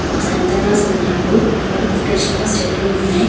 ఒక శాంతాక్లాస్ ఉండిండ్రు మూడు క్రిస్టమస్ చెట్లు ఉన్నాయ్.